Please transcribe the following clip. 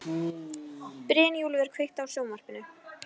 Brynjúlfur, kveiktu á sjónvarpinu.